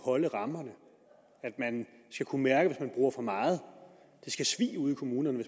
holde rammerne at man skal kunne mærke hvis man bruger for meget det skal svie ude i kommunerne